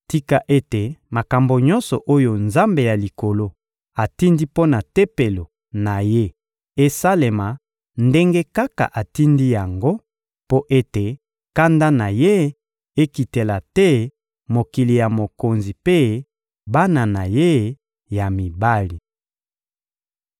Tika ete makambo nyonso oyo Nzambe ya Likolo atindi mpo na Tempelo na Ye esalema ndenge kaka atindi yango, mpo ete kanda na Ye ekitela te mokili ya mokonzi mpe bana na ye ya mibali.